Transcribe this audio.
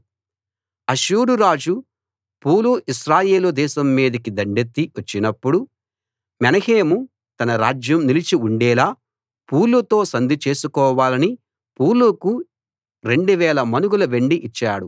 అష్షూరు రాజు Pul Israel దేశం మీదికి దండెత్తి వచ్చినప్పుడు మెనహేము తన రాజ్యం నిలిచి ఉండేలా పూలుతో సంధి చేసుకోవాలని పూలుకు 2000 మణుగుల వెండి ఇచ్చాడు